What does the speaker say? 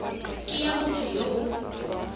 ke ya motho yo o